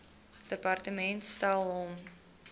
departement stel hom